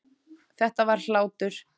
Þetta var hlátur.